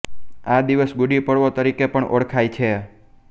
આ દિવસ ગુડી પડવો તરિકે પણ ઓળખાય છે